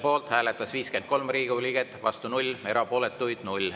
Poolt hääletas 53 Riigikogu liiget, vastu 0, erapooletuks jäi 0.